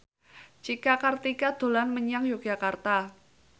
Cika Kartika dolan menyang Yogyakarta